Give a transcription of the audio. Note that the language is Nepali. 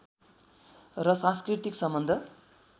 र सांस्कृतिक सम्बन्ध